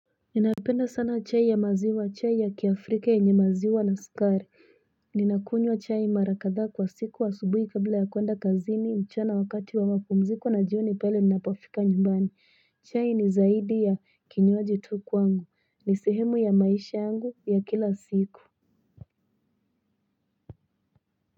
Ninapenda sana chai ya maziwa, chai ya kiafrika yenye maziwa na skari. Ninakunywa chai mara kadha kwa siku asubuhi kabla ya kwenda kazini, mchana wakati wa wamapumziko na jioni pale ninapofika nyumbani. Chai ni zaidi ya kinywaji tu kwangu. Ni sihemu ya maisha yangu ya kila siku.